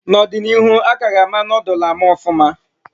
N'ọdịnihu a ka ha ama noodul ama ọfụma